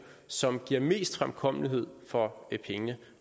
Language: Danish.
som giver mest fremkommelighed for pengene